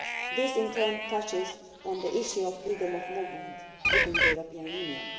This in turn touches on the issue of freedom of movement within the European Union.